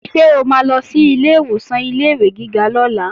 Ṣé o máa lọ sí ilé ìwòsàn ilé-ìwé gíga lọ́la?